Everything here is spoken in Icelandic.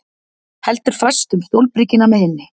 Heldur fast um stólbríkina með hinni.